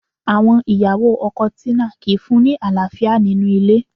Àwọn ìyàwó ọkọ Tina kìí fún-un ní àlàáfíà nínú ilé